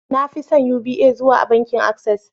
na fi son Uba zuwa bankin Access